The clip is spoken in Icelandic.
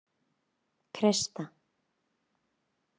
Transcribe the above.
Krista